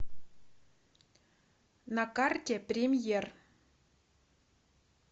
на карте премьер